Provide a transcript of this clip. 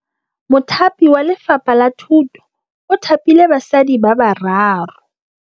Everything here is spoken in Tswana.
Mothapi wa Lefapha la Thutô o thapile basadi ba ba raro.